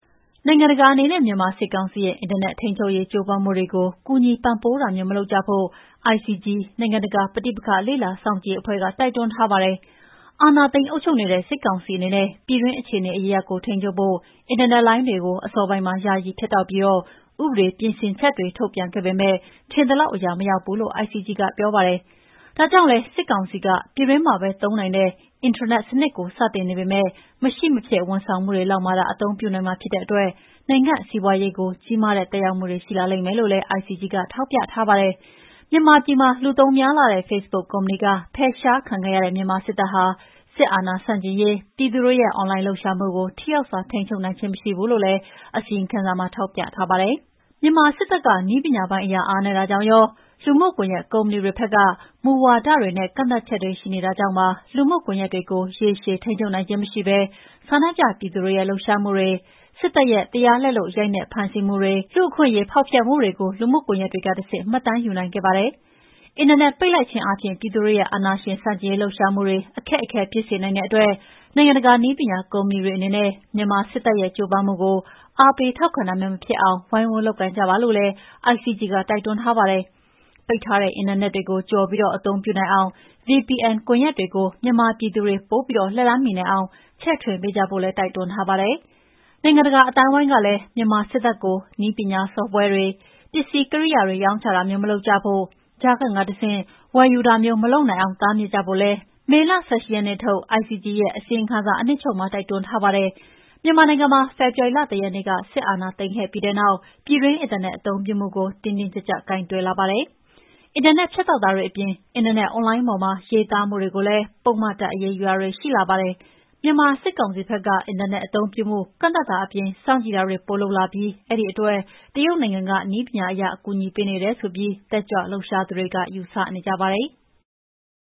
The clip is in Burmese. နိုင်ငံတကာအနေနဲ့ မြန်မာစစ်ကောင်စီရဲ့ အင်တာနက်ထိန်းချုပ်ရေး ကြိုးပမ်းမှုတွေကို ကူညီပံ့ပိုးတာမျိုး မလုပ်ကြဖို့ ICG နိုင်ငံတကာ ပဋိပက္ခလေ့လာစောင့်ကြည့်ရေးအဖွဲ့က တိုက်တွန်းထားပါတယ်။ အာဏာသိမ်းအုပ်ချုပ်နေတဲ့ စစ်ကောင်စီအနေနဲ့ ပြည်တွင်း အခြေအနေအရပ်ရပ်ကို ထိန်းချုပ်ဖို့ အင်တာနက်လိုင်းတွေကို အစောပိုင်းမှာ ယာယီ ဖြတ်တောက်ပြီး ဥပဒေပြင်ဆင်ချက်တွေ ထုတ်ပြန်ခဲ့ပေမဲ့ ထင်သလောက်အရာ မရောက်ဘူးလို့ ICG နိုင်ငံတကာ ပဋိပက္ခလေ့လာစောင့်ကြည့်ရေးအဖွဲ့က ပြောပါတယ်။ ဒါကြောင့်လည်း စစ်ကောင်စီက ပြည်တွင်းမှာပဲ သုံးနိုင်တဲ့ အင်ထရာနက်စနစ်ကို စတင်နေပေမဲ့ မရှိမဖြစ်ဝန်ဆောင်မှုတွေလောက်မှာသာ အသုံးပြုနိုင်မှာဖြစ်တဲ့အတွက် နိုင်ငံစီးပါွးရေးကို ကြီးမားတဲ့ သက်ရောက်မှုတွေ ရှိလာလိမ့်မယ်လို့လည်း ICG ကထောက်ပြထားပါတယ်။ မြန်မာပြည်မှာ လူသုံးများလှတဲ့ ဖေ့ဘုတ်ကုမ္ပဏီ ဖယ်ရှားခံခဲ့ရတဲ့ မြန်မာစစ်တပ်က စစ်အာဏာဆန့်ကျင်ရေး ပြည်သူတွေရဲ့ အွန်လိုင်းလှုပ်ရှားမှုကို ထိရောက်စွာ ထိန်းချုပ်နိုင်ခြင်းမရှိဘူးလို့လည်း အစီရင်ခံစာမှာ ထောက်ပြထားပါတယ်။ မြန်မာစစ်တပ်က နည်းပညာပိုင်းအရအားနည်းတာကြောင့်ရော လူမှုကွန်ယက်ကုမ္ပဏီတွေဘက်က မူဝါဒတွေနဲ့ ကန့်သတ်ချက်တွေရှိနေတာကြောင့် လူမှုကွန်ယက်တွေကို ရေရှည်ထိန်းချုပ်နိုင်ခြင်းမရှိဘဲ ဆန္ဒပြပြည်သူတွေရဲ့ လှုပ်ရှားမှုတွေ၊ စစ်တပ်ရဲ့ တရားလက်လွတ် ရိုက်နှက်ဖမ်းဆီးမှုတွေ၊ လူ့အခွင့်အရေး ဖောက်ဖျက်မှုတွေကို လူမှုကွန်ယက်တွေကတဆင့် မှတ်တမ်းယူနိုင်ခဲ့ပါတယ်။ အင်တာနက်ပိတ်လိုက်ခြင်းအားဖြင့် ပြည်သူတွေရဲ့ အာဏာရှင်ဆန့်ကျင်ရေးလှုပ်ရှားမှုတွေ အခက်အခဲဖြစ်စေနိုင်တဲ့အတွက် နိုင်ငံတကာ နည်းပညာကုမ္ပဏီတွေအနေနဲ့ မြန်မာစစ်တပ်ရဲ့ ကြိုးပမ်းမှုကို အားပေးထောက်ခံတာမျိုး မဖြစ်အောင် ဝိုင်းဝန်း လုပ်ကိုင်ကြပါလို့လည်း ICG က တိုက်တွန်းထားပါတယ်။ ပိတ်ထားတဲ့အင်တာနက်ကို ကျော်ပြီးအသုံးပြုနိုင်အောင် VPN ကွန်ယက်တွေကို မြန်မာ ပြည်သူတွေ ပိုပြီး လက်လှမ်းမီအောင်ချဲ့ထွင်ပေးကြဖို့လည်း တိုက်တွန်းထားပါတယ်။ နိုင်ငံတကာအသိုင်းအဝိုင်းကလည်း မြန်မာစစ်တပ်ကို နည်းပညာဆော့ဖ်ဝဲတွေ၊ ပစ္စည်းကိရိယာတွေ ရောင်းချတာမျိုးမလုပ်ကြဖို့ ကြားခံကတဆင့် ဝယ်ယူတာမျိုး မလုပ်နိုင်အောင် တားမြစ်ကြဖို့လည်း မေလ ၁၈ ရက်နေ့ထုတ် ICG ရဲ့အစီရင်ခံစာမှာအနှစ်ချုပ်မှာ တိုက်တွန်းထားပါတယ်။ မြန်မာနိုင်ငံမှာ ဖေဖော်ဝါရီလ ၁ ရက်နေ့ စစ်တပ်က အာဏာသိမ်းပြီးတဲ့နောက် ပြည်တွင်းအင်တာနက်အသုံးပြုမှုကို တင်းတင်းကြပ်ကြပ်ကိုင်တွယ်လာပါတယ်။ အင်တာနက်ဖြတ်တောက်တာတွေအပြင် အင်တာနက်အွန်လိုင်းပေါ်မှာ ရေးသားမှုတွေကိုလည်း ပုဒ်မအရေးယူတာတွေရှိလာပါတယ်။ မြန်မာစစ်ကောင်စီဘက်က အင်တာနက်အသုံးပြုမှု ကန့်သတ်တာအပြင် စောင့်ကြည့်တာတွေ ပိုလုပ်လာပြီး အဲဒီအတွက် တရုတ်နိုင်ငံက နည်းပညာအရအကူအညီပေးနေတယ်ဆိုပြီး တတ်ကြွလှုပ်ရှားသူတွေက ယူဆနေကြပါတယ်။